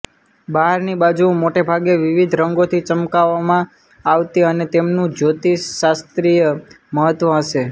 બહારની બાજુઓ મોટે ભાગે વિવિધ રંગોથી ચમકાવવામાં આવતી અને તેમનું જ્યોતિષશાસ્ત્રીય મહત્વ હશે